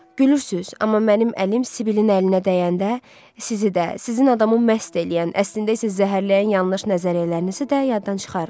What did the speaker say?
Gülürsüz, amma mənim əlim Sibilin əlinə dəyəndə sizi də, sizin adamı məst eləyən, əslində isə zəhərləyən yanlış nəzəriyyələrinizi də yaddan çıxarıram.